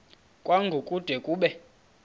kwango kude kube